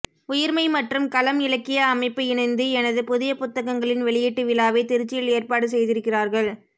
உயிர்மை மற்றும் களம் இலக்கிய அமைப்பு இணைந்து எனது புதிய புத்தகங்களின் வெளியீட்டுவிழாவை திருச்சியில் ஏற்பாடு செய்திருக்கிறார்கள்